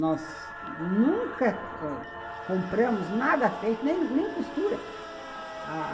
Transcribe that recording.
Nós nunca compramos nada feito, nem nem costura, a